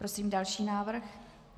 Prosím další návrh.